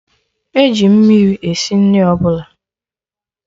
Eji mmiri esi nri ọbụla